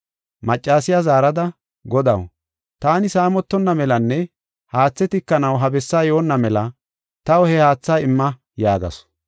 Maccasiya zaarada, “Godaw, taani saamotonna melanne haathe tikanaw ha bessaa yoonna mela taw he haatha imma” yaagasu.